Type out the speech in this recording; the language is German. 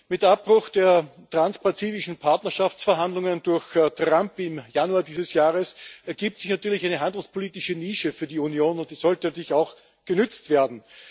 Mit Abbruch der transpazifischen Partnerschaftsverhandlungen durch Trump im Januar dieses Jahres ergibt sich natürlich eine handelspolitische Nische für die Union, und die sollte natürlich auch genutzt werden.